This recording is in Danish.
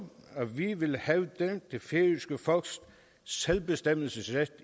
at vi i en vil hævde det færøske folks selvbestemmelsesret